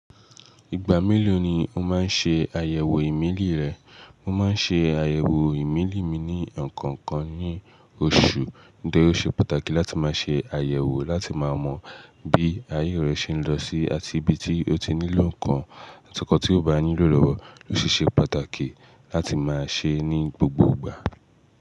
Ìgbà mélòó ni o máa ń ṣe àyẹ̀wò ìmílí rẹ̀? Mo máa ń ṣe àyẹ̀wò ìmílí mi ní ọ̀kọ̀ọ̀kan ní oṣù. Nítorí ò ṣe pàtàkì láti máa ṣe àyẹ̀wò láti máa mọ bí ayé rẹ ṣe ń lọ sí, àti ibi tí o ti nílò nǹkan, àti ohun tí o bá nílò lọ́wọ́. Ó sì ṣe pàtàkì láti máa ṣe é ní gbogbo ìgbà.